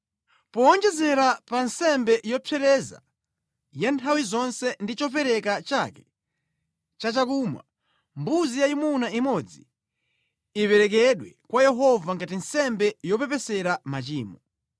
Powonjezera pa nsembe yopsereza ya nthawi zonse ndi chopereka chake cha chakumwa, mbuzi yayimuna imodzi iperekedwe kwa Yehova ngati nsembe yopepesera machimo.